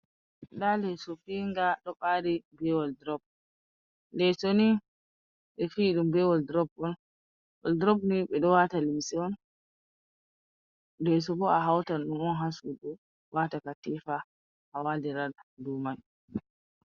Nda leeso fiyinga ɗo ɓari be waldrob, leeso ni ɓe fiyi ɗum be waldrob on, waldrob ni ɓe waata limse, leeso bo a hautan ɗum on ha suudu wata katifa a waalira dou man.